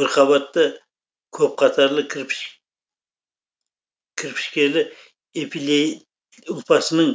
бірқабатты көпқатарлы кірпішкелі эпилей ұлпасының